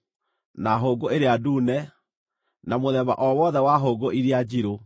na hũngũ ĩrĩa ndune na mũthemba o wothe wa hũngũ iria njirũ,